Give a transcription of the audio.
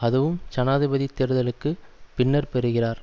அதுவும் ஜனாதிபதி தேர்தல்களுக்கு பின்னர் பெறுகிறார்